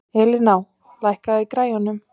Elíná, lækkaðu í græjunum.